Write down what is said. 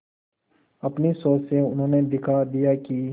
अपनी सोच से उन्होंने दिखा दिया कि